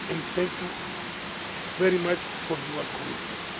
Thank you very much for your commitment.